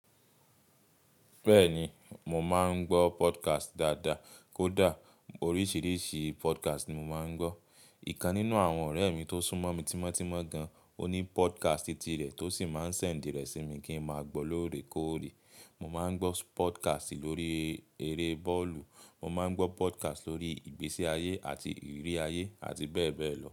Bẹ́ẹ̀ni, mo máa ń gbọ́ podcast dáadáa. Kódà oríṣiríṣi podcast ni mo máa ń gbọ́. Ìkan nínú àwọn ọ̀rẹ́ mi tó súnmọ́ mi tímọ́tímọ́ gan, ó ní podcast ti rẹ̀ tó sì máa ń sẹ̀nd i rẹ̀ sí mi kí n máa gbọ́ lóorekóòrè. Mo máa ń gbọ́ podcast lórí eré bọ́ọ̀lù, mo máa ń gbọ́ podcast lórí ìgbésí ayé àti ìrírí ayé àti bẹ́ẹ̀ bẹ́ẹ̀ lọ.